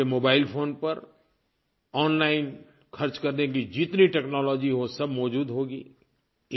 आपके mobile phone पर online ख़र्च करने की जितनी टेक्नोलॉजी है वो सब मौजूद होगी